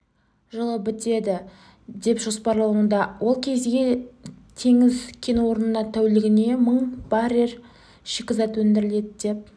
жылы бітеді деп жоспарлануда ол кезде теңіз кен орнынан тәулігіне мың баррель шикізат өндіріледі деп